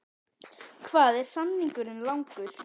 Hvað er samningurinn langur?